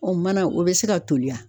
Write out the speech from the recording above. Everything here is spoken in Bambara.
Ɔn manan o be se ka toli a?